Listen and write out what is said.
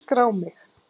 Skrá mig!